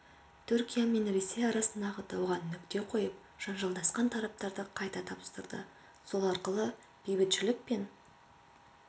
түркия мен ресей арасындағы дауға нүкте қойып жанжалдасқан тараптарды қайта табыстырды сол арқылы бейбітшілік пен